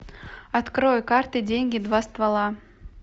открой карты деньги два ствола